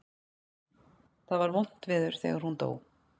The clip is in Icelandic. Það var vont þegar hún dó.